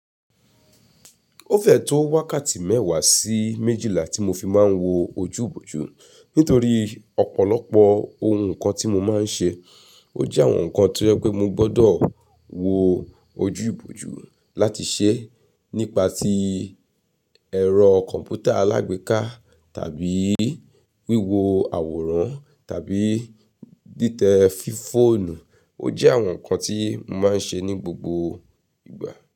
O fẹ́ tó wákàtí mẹ́wàá sí méjìlá tí mo fi máa ń wo ojúbòjú. Nítorí ọ̀pọ̀lọpọ̀ ohun kan tí mo máa ń ṣe, ó jẹ́ àwọn nǹkan tí ẹ pé mo gbọdọ̀ wo ojúbòjú láti ṣe. Nípa ti ẹ̀rọ kọ̀m̀pútà alágbèéká tàbí wíwo àwòrán tàbí tìtẹ fífoònu, ó jẹ́ àwọn nǹkan tí mo máa ń ṣe ní gbogbo ìgbà.